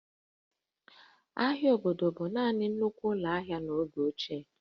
Ahịa obodo bụ naanị nnukwu ụlọ ahịa n'oge ochie